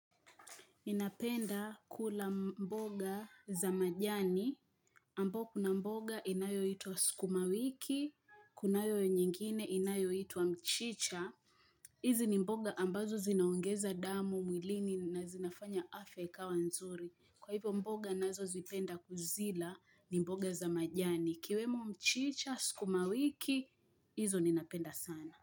Ninapenda kula mboga za majani. Ambao kuna mboga inayoitwa sukumawiki, kunayo nyingine inayo itwa mchicha. Hizi ni mboga ambazo zinaongeza damu mwilini na zinafanya afya ikawa nzuri. Kwa hivyo mboga ninazo zipenda kuzila ni mboga za majani. Ikiwemo mchicha, sukumawiki, hizo ninapenda sana.